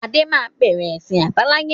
Adé máa bẹ̀rẹ̀ ẹsin àbáláyé